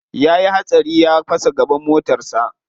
Ya yi hatsari ya fasa gaban motarsa.